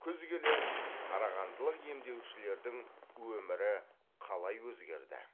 күз келе қарағандылық емдеушілердің өмірі қалай өзгерді